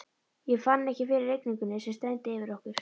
Ég fann ekki fyrir rigningunni sem streymdi yfir okkur.